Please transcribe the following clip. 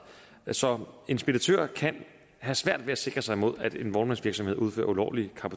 så en speditør kan have svært ved at sikre sig imod at en vognmandsvirksomhed udfører ulovlig